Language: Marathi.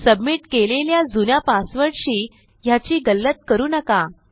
सबमिट केलेल्या जुन्या पासवर्डशी ह्याची गल्लत करू नका